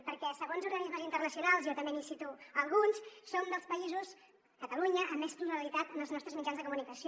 perquè segons organismes internacionals jo també n’hi cito alguns som dels països catalunya amb més pluralitat en els nostres mitjans de comunicació